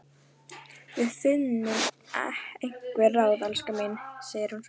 Við finnum einhver ráð, elskan mín, segir hún svo.